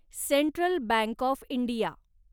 central bank of India